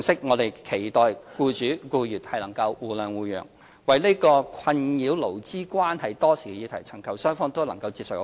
我們期待僱主和僱員能互諒互讓，為這個困擾勞資關係多時的議題尋求雙方均能接受的方案。